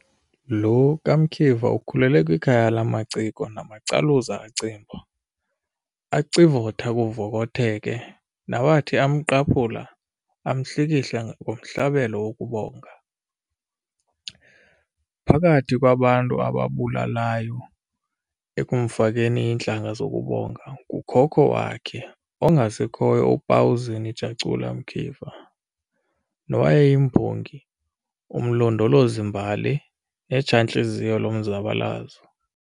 Lo kaMkiva ukhulele kwikhaya lamaciko namacaluza acimba, acivothe kuvokotheke, nawathi amqaphula, amhlikihla ngomhlabelo wokubonga. Phakathi kwabantu ababulalayo ekumfakeni iintlanga zokubonga ngukhokho wakhe, ongasekhoyo uPauzen Jacula Mkiva, nowayeyimbongi, umlondolozimbali, netshantliziyo lomzabalazo.